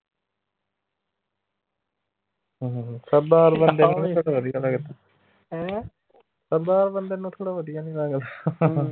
ਸਰਦਾਰ ਬੰਦਾ ਮੈਨੂੰ ਥੋੜਾ ਵਧੀਆ ਨਹੀਂ ਲਗਦਾ